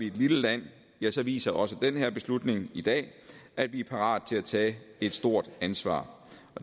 et lille land viser viser også den her beslutning i dag at vi er parate til at tage et stort ansvar